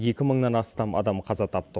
екі мыңнан астам адам қаза тапты